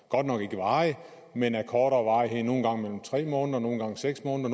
godt nok ikke varigt men af kortere varighed nogle gange tre måneder nogle gange seks måneder